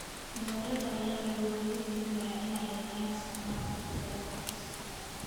Dowladaha ayaa lagu dhiirigelinayaa inay yareeyaan isticmaalka shidaalka fosilka ah.